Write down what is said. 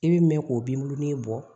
I bi mɛn k'o bin burunin bɔ